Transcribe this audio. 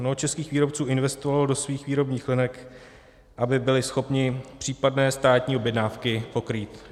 Mnoho českých výrobců investovalo do svých výrobních linek, aby byli schopni případné státní objednávky pokrýt.